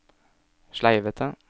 sleivete